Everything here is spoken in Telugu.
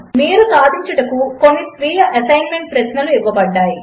మీరు సాధించుటకు కొన్ని స్వీయ అసెస్మెంట్ ప్రశ్నలు ఇవ్వబడినవి